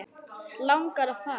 Langar að fara.